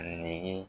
Nege